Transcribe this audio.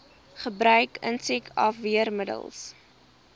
gebruik insek afweermiddels